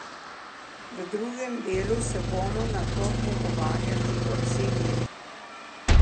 V drugem delu se bomo nato pogovarjali o ciljih.